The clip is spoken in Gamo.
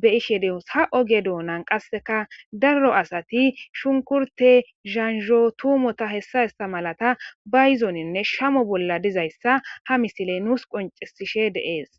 be ishe deos ha oge doonan qasseka darro asati shunkurte zanzho tuumota hessa hessa malata ba yizoninne shamo bolla dizayssa ha misiley nuus qoncisishe deees